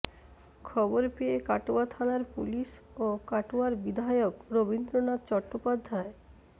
খবর পেয়ে কাটোয়া থানার পুলিশ ও কাটোয়ার বিধায়ক রবীন্দ্রনাথ চট্টোপাধ্যায়